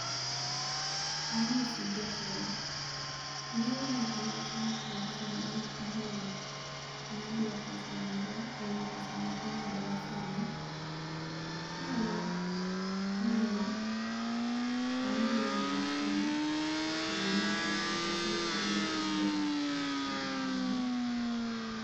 amosi jatelo. nyoro ne inwacho wach moro ni ibiro ngadwa pesa moro ewi pesa mingadowa sani. inyalo miyo ange wachni eyo maler nikech neok awinje maber, erokamano